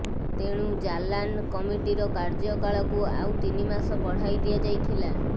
ତେଣୁ ଜାଲାନ୍ କମିଟିର କାର୍ଯ୍ୟକାଳକୁ ଆଉ ତିନି ମାସ ବଢ଼ାଇ ଦିଆଯାଇଥିଲା